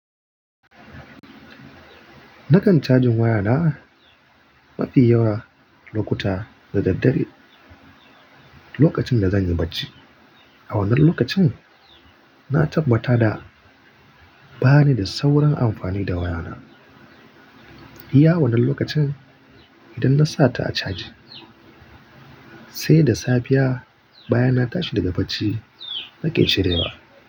Nakan cajin wayana mafi yawa lokuta da daddare lokacin da zanyi barci. A wannan lokacin, na tabbata da bani da sauran amfani da wayana. Iya wannan lokacin idan na sata a caji, sai da safiya bayan na tashi daga barci nakan cirewa.